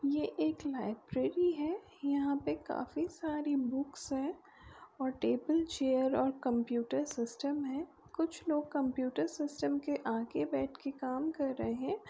ये एक लाइब्रेरी है यहाँ पे काफी सारी बुक्स हैं और टेबल चेयर और कंप्युटर सिस्टम हैं कुछ लोग कंप्यूटर सिस्टम के आगे बैठ के काम कर रहै हैं।